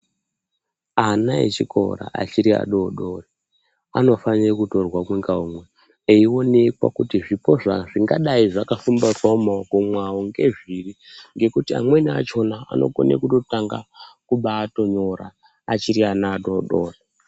Ana echikora achiri adodori anofanirwe kutorwa umwengaumwe, eionekwa kuti zvipo zvingadai zvakafumbatwa mumaoko mwavo ngezviri ngekuti amweni achona anokone kutotanga kubaatonyora achiri ana adodori.